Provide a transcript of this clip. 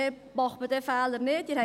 Dann macht man diesen Fehler nicht.